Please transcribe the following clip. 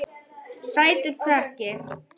Sætur krakki!